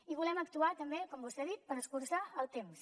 i volem actuar també com vostè ha dit per escurçar el temps